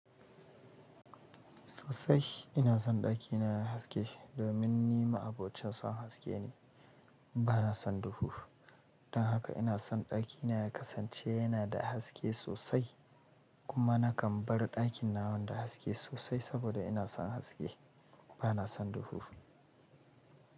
Sosai ina son ɗakina yayi haske domin ni ma'abocin son haske ne, ba na son duhu. Don haka ina son ɗakina ya kasance yana da haske sosai. Kuma nakan bar ɗakin nawan da haske sosai saboda ina son haske, ba na son duhu.